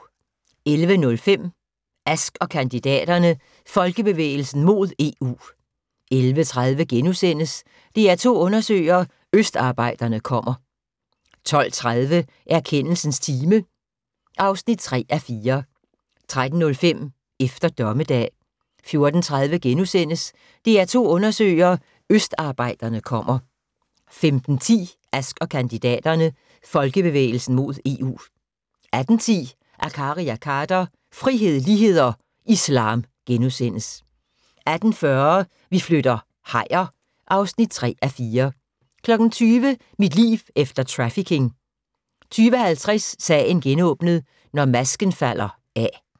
11:05: Ask & kandidaterne: Folkebevægelsen mod EU 11:30: DR2 undersøger: Østarbejderne kommer * 12:30: Erkendelsens time (3:4) 13:05: Efter Dommedag 14:30: DR2 undersøger: Østarbejderne kommer * 15:10: Ask & kandidaterne: Folkebevægelsen mod EU 18:10: Akkari & Khader – frihed, lighed og islam * 18:40: Vi flytter - hajer (3:4) 20:00: Mit liv efter trafficking 20:50: Sagen genåbnet: Når masken falder af